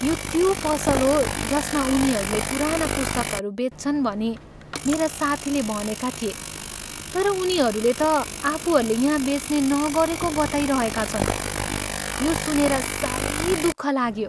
यो त्यो पसल हो जसमा उनीहरूले पुराना पुस्तकहरू बेच्छन् भनी मेरा साथीले भनेका थिए तर उनीहरूले त आफूहरूले यहाँ बेच्ने नगरेको बताइरहेका छन्। यो सुनेर साह्रै दुःख लाग्यो।